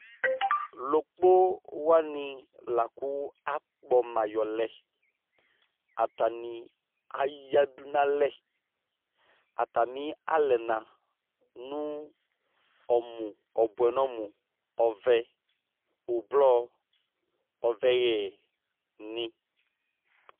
lɔkpɔ wani lakʋ akpɔ ma yɔlɛ, atani aya dʋ nʋalɛ, atami alɛna nʋ ɔmʋ ɔbʋ, ɔbʋɛ nʋ ɔmʋ ɔvɛ ɔblɔ ɔvɛyɛ ni